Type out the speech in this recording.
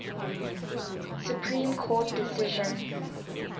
supreme court decision